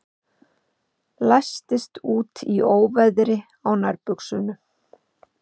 Læstist úti í óveðri á nærbuxunum